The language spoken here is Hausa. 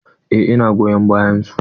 Eh ina goyon bayan su.